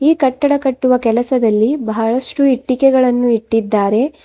ಈ ಕಟ್ಟಡ ಕಟ್ಟುವ ಕೆಲಸದಲ್ಲಿ ಬಹಳಷ್ಟು ಇಟ್ಟಿಗೆಗಳನ್ನೂ ಇಟ್ಟಿದ್ದಾರೆ.